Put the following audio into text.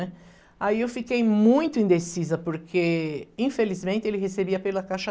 Aí eu fiquei muito indecisa, porque infelizmente ele recebia pela Caixa